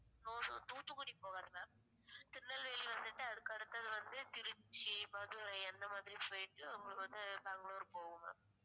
தூத்துக்குடி போகாது ma'am திருநெல்வேலி வந்துட்டு அதுக்கு அடுத்தது வந்து திருச்சி, மதுரை, அந்த மாதிரி போயிட்டு உங்களுக்கு வந்து பெங்களூர் போகும் ma'am